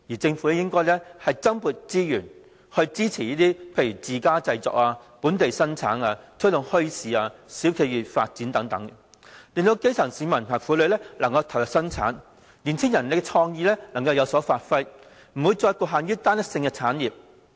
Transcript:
政府應該增撥資源支持自家製作、本地生產，並推動墟市、小店企業發展等，令到基層市民和婦女能夠投入生產，年青人的創意能夠有所發揮，不會再將發展局限於單一性的產業。